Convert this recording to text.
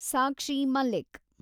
Sakshi Malik